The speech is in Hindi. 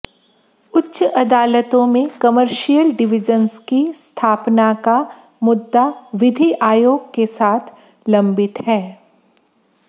उच्च अदालतों में कमर्शियल डिविजन्स की स्थापना का मुद्दा विधि आयोग के साथ लम्बित है